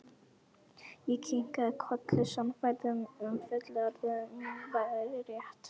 Ég kinkaði kolli, sannfærður um að fullyrðing mín væri rétt.